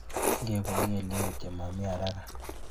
Ngebun kelyek kityo, momii haraka.